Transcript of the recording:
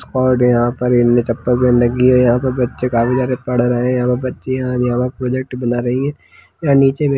--और यहाँ पर उनने चप्पल पहन रखी है यहाँ पे बच्चे काफी सारे पढ़ रहे है और बच्चे यहाँ प्रोजेक्ट् बना रही है वह नीचे--